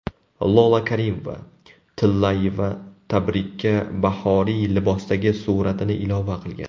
Lola Karimova-Tillayeva tabrikka bahoriy libosdagi suratini ilova qilgan.